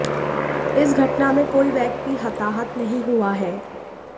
इस घटना में कोई व्यक्ति हताहत नहीं हुआ है